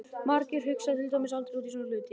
Margir hugsa til dæmis aldrei út í svona hluti!